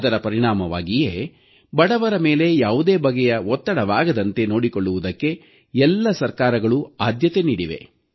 ಅದರ ಪರಿಣಾಮವಾಗಿಯೇ ಬಡವರ ಮೇಲೆ ಯಾವುದೇ ಬಗೆಯ ಒತ್ತಡವಾಗದಂತೆ ನೋಡಿಕೊಳ್ಳುವುದಕ್ಕೆ ಎಲ್ಲ ಸರ್ಕಾರಗಳೂ ಆದ್ಯತೆ ನೀಡಿವೆ